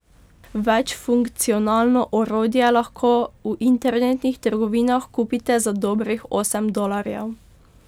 Večfunkcionalno orodje lahko v internetnih trgovinah kupite za dobrih osem dolarjev.